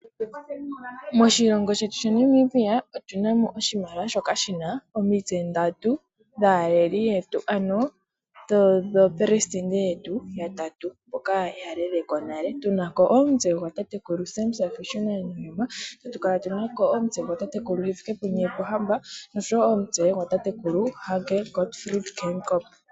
Moshilongo shetu Namibia otunamo oshimaliwa shoka shina omitse ndatu dhaaleli yetu, ano dhaaleliyetu ya tatu mboka ya leleko nale. Tunako omutse gwa tatekulu Sam Shafiishuna Nujoma, tatu kala tunako omutse gwa tatekulu Hifikepunye Pohamba osho wo omutse gwa tatekulu Hage Gotfrid Geingob.